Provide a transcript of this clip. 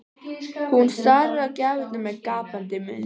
Hún starir á gjafirnar með gapandi munn.